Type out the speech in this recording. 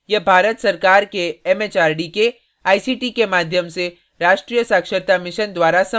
यह भारत सरकार के एमएचआरडी के आईसीटी के माध्यम से राष्ट्रीय साक्षरता mission द्वारा समर्थित है